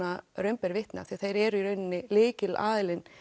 raun ber vitni af því að þeir eru í rauninni lykilaðilinn